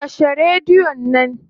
Kashe radion nan.